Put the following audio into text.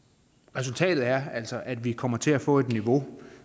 resultatet er altså at vi kommer til at få et niveau